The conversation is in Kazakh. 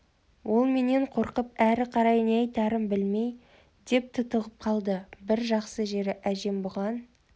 ол менен қорқып әрі қарай не айтарын білмей деп тұтығып қалды бір жақсы жері әжем бұған